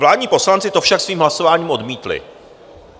Vládní poslanci to však svým hlasováním odmítli.